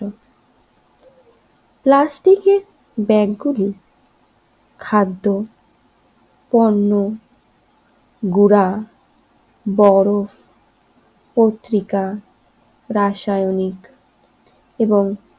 প্লাস্টিকের ব্যাগগুলি খাদ্য পণ্য গুড়া বরফ পত্রিকা রাসায়নিক এবং